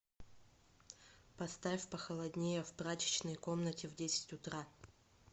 поставь похолоднее в прачечной комнате в десять утра